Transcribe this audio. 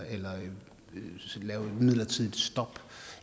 lave et midlertidigt stop